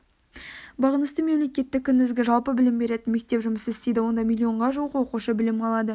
бағынысты мемлекеттік күндізгі жалпы білім беретін мектеп жұмыс істейді онда млн-ға жуық оқушы білім алады